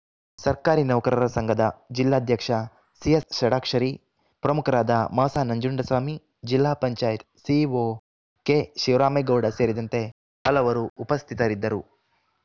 ಸರ್ಕಾರಿ ನೌಕರರ ಸಂಘದ ಜಿಲ್ಲಾಧ್ಯಕ್ಷ ಸಿಎಸ್‌ಷಡಾಕ್ಷರಿ ಪ್ರಮುಖರಾದ ಮಸಾನಂಜುಂಡಸ್ವಾಮಿ ಜಿಲ್ಲಾಪಂಚಾಯತ್ ಸಿಇಒ ಕೆಶಿವರಾಮೇಗೌಡ ಸೇರಿದಂತೆ ಹಲವರು ಉಪಸ್ಥಿತರಿದ್ದರು